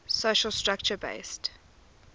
social structure based